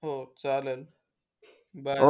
हो चालेल. Bye.